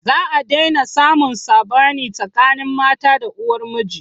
Za a daina samun saɓani tsakanin mata da uwar miji.